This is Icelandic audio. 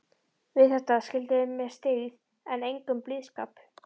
Við þetta skildu þeir með styggð en engum blíðskap.